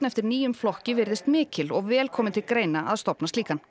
eftir nýjum flokki virðist mikil og vel komi til greina að stofna slíkan